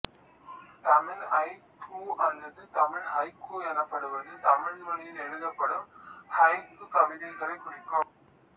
Tamil haiku அல்லது Tamil haiku எனப்படுவது தமிழ் மொழியில் எழுதப்படும் ஹைக்கூ கவிதைகளைக் குறிக்கும்